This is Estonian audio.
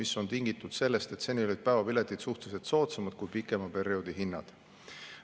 See on tingitud sellest, et seni olid päevapiletid suhteliselt soodsamad kui pikema perioodi hinnad.